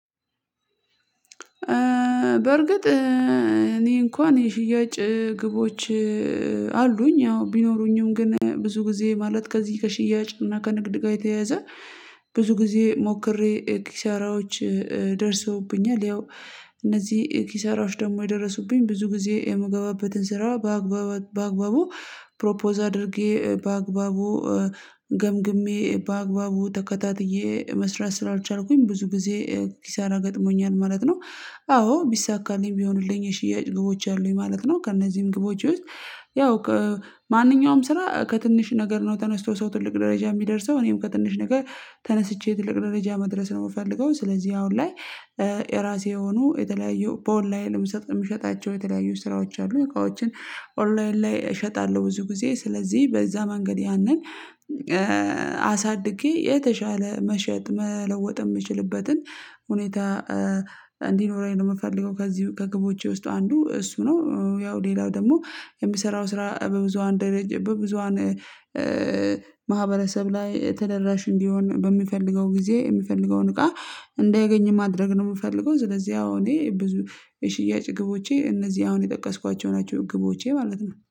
በርግጥ እኔ እንኳን የሽያጭ ግቦች አሉኝ ያው ቢኖሩኝም ግን ብዙ ጊዜ ማለት ከዚህ ከሽያጭ እና ከንግድ ጋር የተያዘ ብዙ ጊዜ ሞክሬ ኪሳራዎች ደርሰውብኛል ያው እነዚህ ኪሳራዎች ደግሞ የደረሱብኝ ብዙ ጊዜ የምገባበትን ስራ በአግባቡ ፕሮፖዝ አድርጌ በአግባቡ ገምግሜ በአግባቡ ተከታትዬ መስራት ስላልቻልኩኝ ብዙ ጊዜ ኪሳራ ገጥሞኛል ማለት ነው። አዎ ቢሳካልኝ ቢሆንልኝ የሽያጭ ግቦች አሉኝ ማለት ነው ከእነዚህም ግቦች ውስጥ ያው ማንኛውም ስራ ከትንሽ ነገር ነው ተነስቶ ሰው ትልቅ ደረጃ የሚደርሰው እኔም ከትንሽ ነገር ተነስቼ ትልቅ ደረጃ መድረስ ነው የምፈልገው። ስለዚህ አሁን ላይ የራሴ የሆኑ የተለያዩ በኦንለይን ላይ ምስጥ የምሸጣቸው የተለያዩ ስራዎች አሉ። እቃዎችን ኦንላይን ላይ እሸጣለሁ ብዙ ጊዜ ስለዚህ በዛ መንገድ ያንን አሳድጌ የተሻለ መሸጥ መለወጥ የምችልበትን ሁኔታ እንዲኖረኝ ነው የምፈልገው። ከዚህ ከግቦቼ ውስጥ አንዱ እሱ ነው ያው ሌላው ደግሞ የሚሰራው ስራ በብዙሃን ደረጃ በብዙሃን ማህበረሰብ ላይ ተደራሽ እንዲሆን በሚፈልገው ጊዜ የሚፈልገውን እቃ እንዳያገኝ ማድረግ ነው የምፈልገው። ስለዚህ አዎ እኔ ብዙ የሽያጭ ግቦቼ እነዚህ አሁን የጠቀስኳቸው ናቸው ግቦቼ ማለት ነው